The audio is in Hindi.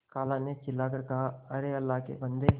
खाला ने चिल्ला कर कहाअरे अल्लाह के बन्दे